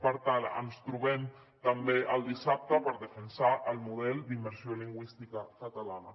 per tant ens trobem també dissabte per defensar el model d’immersió lingüística catalana